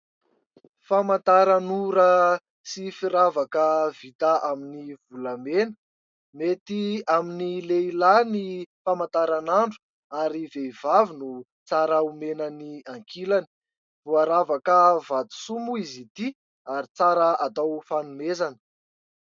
Famantaranora sy firavaka vita amin'ny volamena. Mety amin'ny lehilahy ny famantaranandro ary vehivavy no tsara omena ny ankilany. Voaravaka vatosoa moa izy ity ary tsara atao fanomezana.